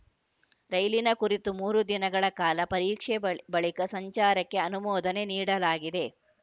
ರೈಲಿನ ಕುರಿತು ಮೂರು ದಿನಗಳ ಕಾಲ ಪರೀಕ್ಷೆ ಬಳ್ ಬಳಿಕ ಸಂಚಾರಕ್ಕೆ ಅನುಮೋದನೆ ನೀಡಲಾಗಿದೆ